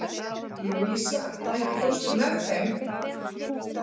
Louisa, ekki fórstu með þeim?